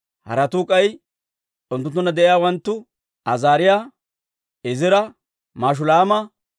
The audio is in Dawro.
Haratuu k'ay unttunttunna de'iyaawanttu Azaariyaa, Izira, Mashulaama,